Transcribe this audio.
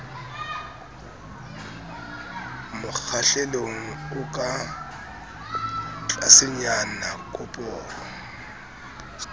mokgahlelong o ka tlasenyana koporo